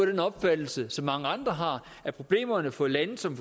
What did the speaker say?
den opfattelse som mange andre har at problemerne for lande som